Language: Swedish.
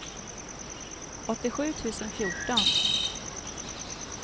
åttiosju tusen fjorton